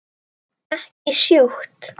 Ekki sjúkt.